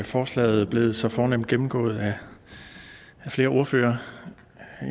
forslaget blevet så fornemt gennemgået af flere ordførere